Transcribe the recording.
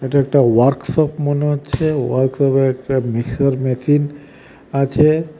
এটা একটা ওয়ার্কশপ মনে হচ্ছে ওয়ার্কশপে একটা মিক্সচার মেশিন আছে .